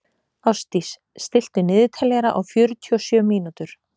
Ástdís, stilltu niðurteljara á fjörutíu og sjö mínútur.